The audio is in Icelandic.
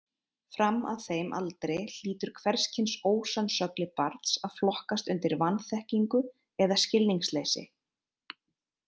Fram að þeim aldri hlýtur hvers kyns ósannsögli barns að flokkast undir vanþekkingu eða skilningsleysi.